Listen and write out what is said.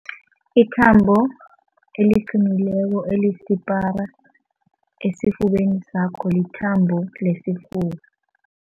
Ithambo eliqinileko elisipara esifubeni sakho lithambo lesifuba.